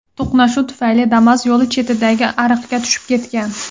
To‘qnashuv tufayli Damas yo‘l chetidagi ariqga tushib ketgan.